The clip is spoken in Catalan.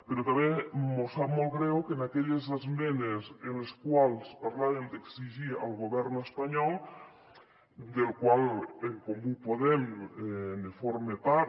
però tam·bé mos sap molt greu que en aquelles esmenes en les quals parlàvem d’exigir al go·vern espanyol del qual en comú podem ne forma part